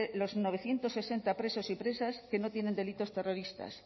los novecientos sesenta presos y presas que no tienen delitos terroristas